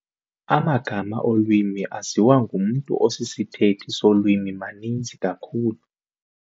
Amagama olwimi aziwa ngumntu osisithethi solwimi maninzi kakhulu.